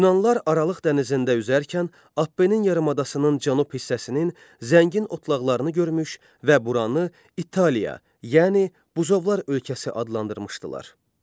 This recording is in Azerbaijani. Yunanlılar Aralıq dənizində üzərkən Apnenin yarımadasının cənub hissəsinin zəngin otlaqlarını görmüş və buranı İtaliya, yəni buzovlar ölkəsi adlandırmışdılar.